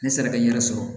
Ni sera bɛ n yɛrɛ sɔrɔ